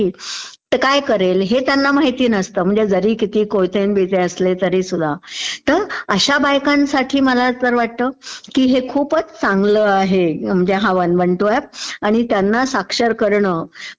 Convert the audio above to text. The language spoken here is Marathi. तर काय करेल हे त्यांना माहिती नसतं म्हणजे तरी कितीही कोयते न बियते असले तरीसुध्दा तर अश्या बायकांसाठी मला तर वाटतं की हे खूपच चांगलं आहे म्हणजे हा वन वन टू ऍप. आणि त्यांना साक्षर करणं